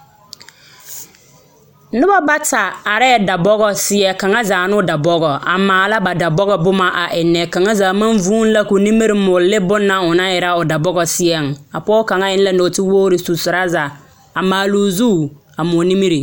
Nobo bata arɛɛ dabɔgɔ seɛ, kaŋa zaa ne o dabɔgɔŋ a maala ba da bɔgɔ boma a ennɛ,. Kaŋa zaa maŋ vūūhe la koo nimiri moɔ lɛ bonna o naŋ erɛ o dabɔgɔ seɛŋ. A pɔgɔ kaŋ eŋ la nɔɔtewogiri su torasa, a maaloo zuu, a moɔ nimiri.